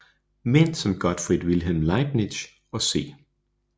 Mænd som Gottfried Wilhelm Leibniz og C